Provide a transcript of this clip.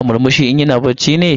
Yana murmushi in yana bacci ne?